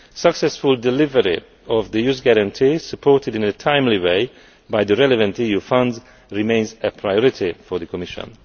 Successful delivery of the Youth Guarantee supported in a timely way by the relevant EU funds remains a priority for the Commission.